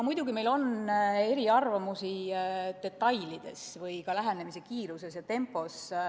Muidugi meil on eriarvamusi detailides või ka eesmärgile lähenemise tempos.